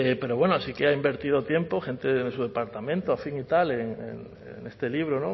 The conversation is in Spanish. pero bueno sí que ha invertido tiempo gente de su departamento afín y tal en este libro